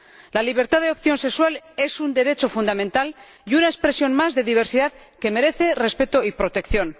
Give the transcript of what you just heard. La libertad de opción sexual es un derecho fundamental y una expresión más de diversidad que merece respeto y protección.